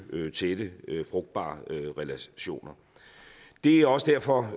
tætte frugtbare relationer det er også derfor